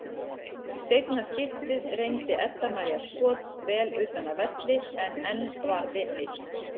Í seinna skiptið reyndi Edda María skot vel utan af velli en enn varði Mist.